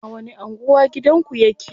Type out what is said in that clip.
A wani anguwa gidanku yake?